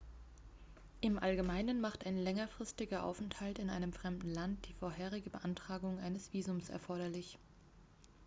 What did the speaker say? im allgemeinen macht ein längerfristiger aufenthalt in einem fremden land die vorherige beantragung eines visums erforderlich